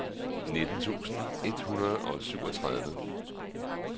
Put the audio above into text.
nitten tusind et hundrede og syvogtredive